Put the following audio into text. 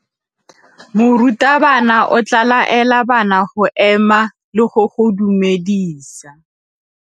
Morutabana o tla laela bana go ema le go go dumedisa.